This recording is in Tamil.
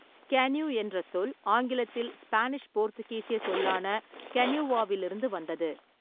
கேன்யு என்ற சொல் ஆங்கிலத்தில் ஸ்பானிஷ்-போர்த்துகீசிய சொல்லான கேன்யுவாவிலிருந்து வந்தது.